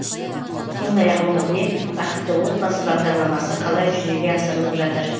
сондай ақ өңірде бақытты отбасы бағдарламасы қалай жүзеге асырылып жатыр